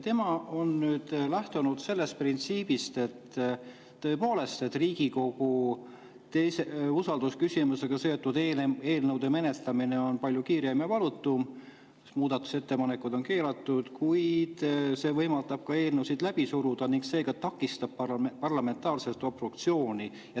Tema on lähtunud sellest printsiibist, et tõepoolest, Riigikogus on usaldusküsimusega seotud eelnõude menetlemine palju kiirem ja valutum, sest muudatusettepanekud on keelatud, kuid see võimaldab ka eelnõusid läbi suruda ning seega takistab parlamentaarset obstruktsiooni.